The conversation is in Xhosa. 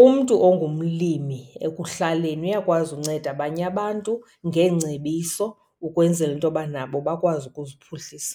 Umntu ongumlimi ekuhlaleni uyakwazi unceda abanye abantu ngeengcebiso ukwenzela intoba nabo bakwazi ukuziphuhlisa.